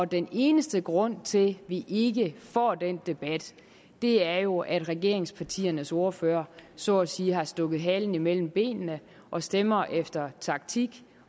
den eneste grund til at vi ikke får den debat er jo at regeringspartiernes ordførere så at sige har stukket halen imellem benene og stemmer efter taktik